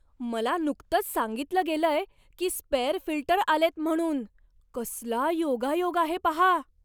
मला नुकतंच सांगितलं गेलंय की स्पेअर फिल्टर आलेत म्हणून. कसला योगायोग आहे पहा!